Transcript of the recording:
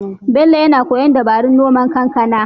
Bello yana koyon dabarun noman kankana.